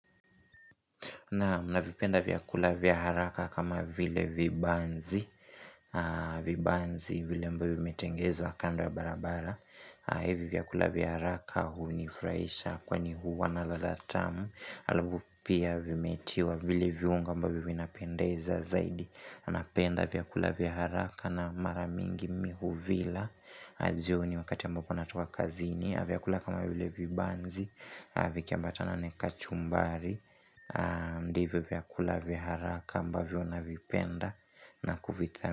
Naam navipenda vyakula vya haraka kama vile vibanzi vile ambayo vimetengenezwa kando ya barabara hivi vyakula vya haraka hunifurahisha kwani huwa na ladha tamu Alafu pia vimetiwa vile viungo ambavyo vinapendeza zaidi na napenda vyakula vya haraka na mara mingi mimi huvila jioni wakati ambapo natoka kazini vyakula kama vile vibanzi Vikiambata na kachumbari Ndivyo vyakula vya haraka ambavyo navipenda na kuvithani.